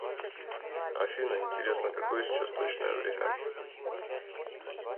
афина интересно какое сейчас точное время